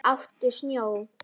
Éttu snjó.